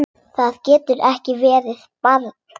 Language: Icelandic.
Það getur ekki verið, barn!